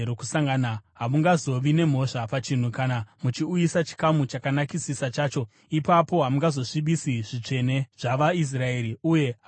Hamungazovi nemhosva pachinhu kana muchiuyisa chikamu chakanakisisa chacho; ipapo hamungazosvibisi zvitsvene zvavaIsraeri, uye hamuzofi.’ ”